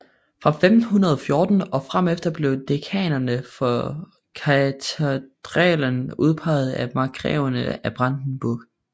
Fra 1514 og fremefter blev dekanerne for katedralen udpeget af markgreverne af Brandenburg